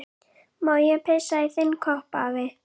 Má ég pissa í þinn kopp, afi?